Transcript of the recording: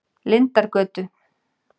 Lindargötu